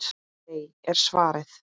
Nei er svarið.